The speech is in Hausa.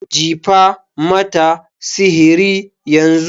Jifa mata sihiri yanzu.